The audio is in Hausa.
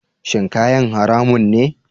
Shin kayan haramun ne?